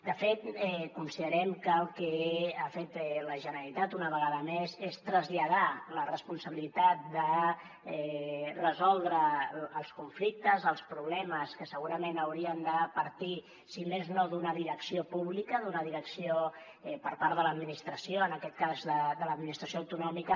de fet considerem que el que ha fet la generalitat una vegada més és traslladar la responsabilitat de resoldre els conflictes els problemes que segurament haurien de partir si més no d’una direcció pública d’una direcció per part de l’administració en aquest cas de l’administració autonòmica